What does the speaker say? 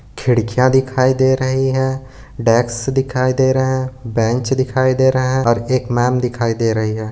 खिड़कियां दिखाई दे रही है डेक्स दिखाई दे रहे हैं बेंच दिखाई दे रहे हैं और एक मेम दिखाई दे रही है।